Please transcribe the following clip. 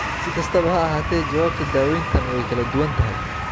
Si kastaba ha ahaatee, jawaabta daaweyntan way kala duwan tahay.